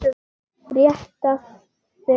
Rétti sig af.